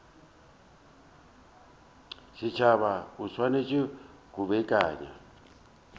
setšhaba o swanetše go beakanya